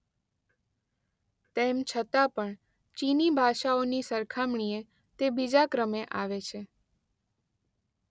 તેમ છતાં પણ ચીની ભાષાઓની સરખામણીએ તે બીજા ક્રમે આવે છે.